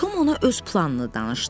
Tom ona öz planını danışdı.